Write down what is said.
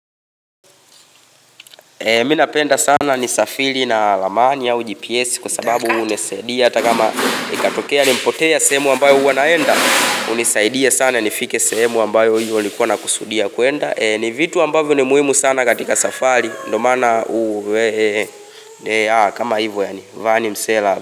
Mimi napenda sana nisafiri na ramani au GPS kwa sababu hunisaidia hata kama ikatokea nimepotea sehemu ambayo huwa naenda hunisaidia sana nifike sehemu ambayo hiyo nilikuwa na kusudia kuenda ni vitu ambavyo ni muhimu sana katika safari ndio maana kama hivo yani msela.